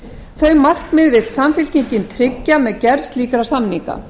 þau markmið vill samfylkingin tryggja með gerð slíkra samninga